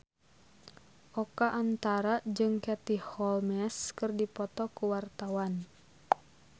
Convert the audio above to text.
Oka Antara jeung Katie Holmes keur dipoto ku wartawan